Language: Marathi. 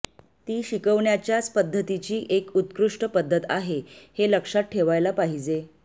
ती शिकवण्याच्याच पध्दतीची एक उत्कृष्ट पध्दत आहे हे लक्षात ठेवायला पाहिजे